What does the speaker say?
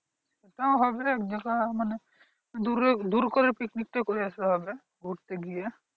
তাও হবে যে করে হোক মানে দূর করে picnic করে আসা হবে ঘুরতে গিয়ে